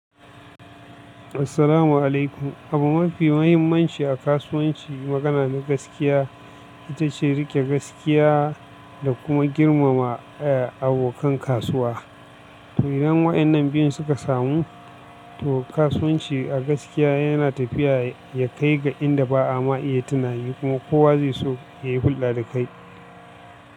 Assalamu alaikum. Abu mafi mahimmanci a kasuwanci magana na gaskiya ita ce riƙe gaskiya da kuma girmama eh abokan kasuwa. To idan waɗannan biyun suka samu, to kasuwanci a gaskiya yana tafiya ya kai ga inda ba ama iya tunani kuma kowa zai so yayi hulɗa da kai.